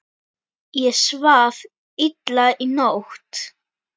Ég svaf illa í nótt.